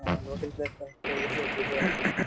local place বা history আছে যিবোৰ আছে মানে